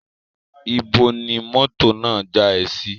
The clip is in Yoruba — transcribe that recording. Ibo ni mọ́tò náà já ẹ sí?